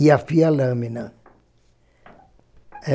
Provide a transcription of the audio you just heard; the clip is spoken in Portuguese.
E afia a lâmina.